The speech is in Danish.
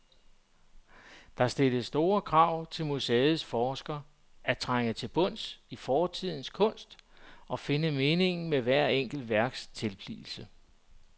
Det stiller store krav til museets forskere at trænge til bunds i fortidens kunst og finde meningen med hvert enkelt værks tilblivelse.